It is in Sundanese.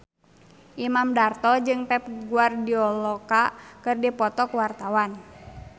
Imam Darto jeung Pep Guardiola keur dipoto ku wartawan